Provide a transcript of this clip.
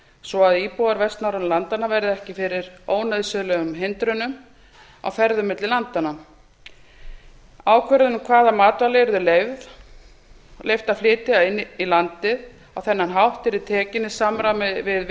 svo að íbúar vestnorrænu landanna verði ekki fyrir ónauðsynlegum hindrunum á ferðum milli landanna ákvörðun um hvaða matvæli yrði leyft að flytja inn á þennan hátt yrði tekin í samráði við